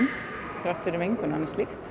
þrátt fyrir mengun og annað slíkt